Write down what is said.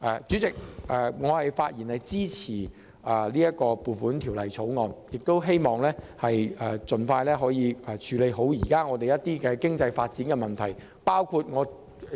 主席，我發言支持《2019年撥款條例草案》，亦希望政府盡快處理好香港經濟發展現正面對的問題。